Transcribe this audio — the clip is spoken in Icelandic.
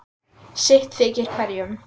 sitt þykir hverjum